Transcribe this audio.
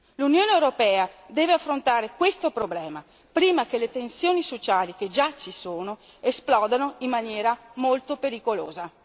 L'Unione europea deve affrontare questo problema prima che le tensioni sociali che già ci sono esplodano in maniera molto pericolosa.